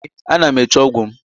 Ee, ana m eche ọgwụ m